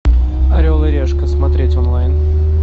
орел и решка смотреть онлайн